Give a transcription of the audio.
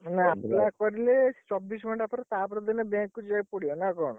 ମାନେ apply କରିଲେ ଚବିଶ ଘଣ୍ଟା ପରେ ତାପର ଦିନ bank କୁ ଯିବାକୁ ପଡିବ ନା କଣ?